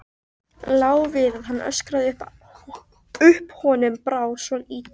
Lá við að hann öskraði upp, honum brá svo illilega.